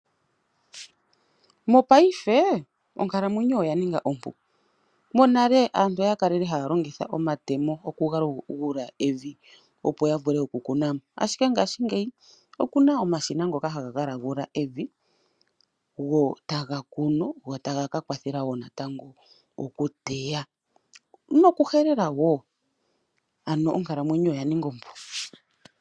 Mopaife onkalamwenyo oya nnga ompu monale aantu oya kalele haa longitha omatemo moku longekidha omavi opo ya vule okukuna mo ihe mongashingeyi okuna omashina ngoka haga longekidha evi go taga kunu go taga ka kwathela wo natango okuteya nokuhelela woo ano onkalamwenyo oya ninga ompu.